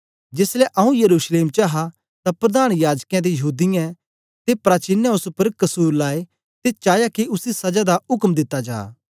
जेसलै आंऊँ यरूशलेम च हा तां प्रधान याजकें ते यहूदीयें दे प्राचीनें ओस उपर कसुर लाए ते चाया के उसी सजा दा उक्म दिता जा